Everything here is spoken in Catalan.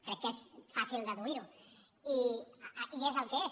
crec que és fàcil deduir·ho i és el que és